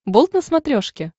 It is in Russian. болт на смотрешке